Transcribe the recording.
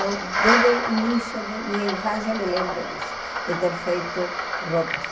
Então, desde o início da minha infância, eu me lembro disso, de ter feito roupas.